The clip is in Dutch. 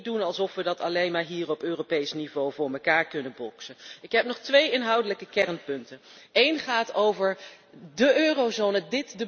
Wij kunnen niet doen alsof we dat alleen maar hier op Europees niveau voor elkaar kunnen boksen. Ik heb nog twee inhoudelijke kernpunten. Eén punt gaat over de eurozone.